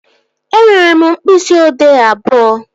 Ee, enwere m mkpịsị odee abụọ